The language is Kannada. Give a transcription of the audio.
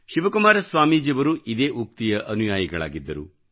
ಶಿವಕುಮಾರ ಸ್ವಾಮೀಜಿಯವರು ಇದೇ ಉಕ್ತಿಯ ಅನುಯಾಯಿಗಳಾಗಿದ್ದರು